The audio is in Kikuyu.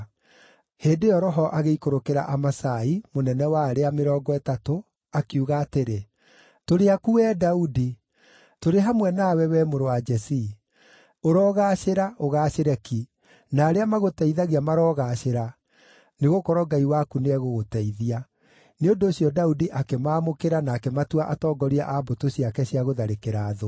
Hĩndĩ ĩyo Roho agĩikũrũkĩra Amasai, mũnene wa arĩa Mĩrongo Ĩtatũ, akiuga atĩrĩ: “Tũrĩ aku, wee Daudi! Tũrĩ hamwe nawe, wee mũrũ wa Jesii! Ũrogaacĩra, ũgaacĩre ki, na arĩa magũteithagia marogaacĩra, nĩgũkorwo Ngai waku nĩegũgũteithia.” Nĩ ũndũ ũcio Daudi akĩmaamũkĩra na akĩmatua atongoria a mbũtũ ciake cia gũtharĩkĩra thũ.